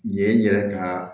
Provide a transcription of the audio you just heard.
Nin ye n yɛrɛ ka